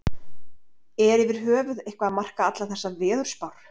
Er yfir höfuð eitthvað að marka allar þessar veðurspár?